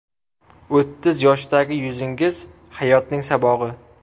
O‘ttiz yoshdagi yuzingiz – hayotning sabog‘i.